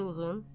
Çılğın.